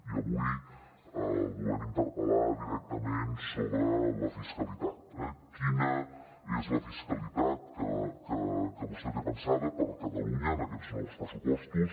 i avui el volem interpel·lar directament sobre la fiscalitat quina és la fiscalitat que vostè té pensada per a catalunya en aquests nous pressupostos